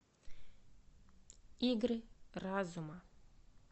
игры разума